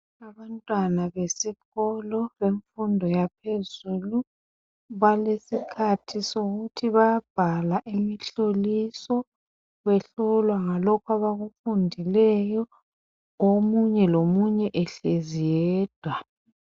Abantwana besikolo yemfundo yaphezulu balesikhathi sokuthi bayabhala imihloliso behlolwa ngalokho abakufundileyo omunye lomunye ehlezi eyedwa.